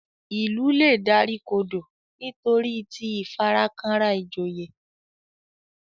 Ilú lẹ dárìkodo nitoriti ìfarakanra ìjòyè